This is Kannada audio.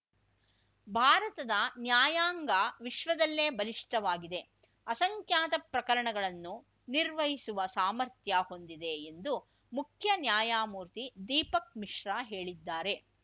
ಭಾರತದ ನ್ಯಾಯಾಂಗ ವಿಶ್ವದಲ್ಲೇ ಬಲಿಷ್ಠವಾಗಿದೆ ಅಸಂಖ್ಯಾತ ಪ್ರಕರಣಗಳನ್ನು ನಿರ್ವಹಿಸುವ ಸಾಮರ್ಥ್ಯ ಹೊಂದಿದೆ ಎಂದು ಮುಖ್ಯ ನ್ಯಾಯಮೂರ್ತಿ ದೀಪಕ್‌ ಮಿಶ್ರಾ ಹೇಳಿದ್ದಾರೆ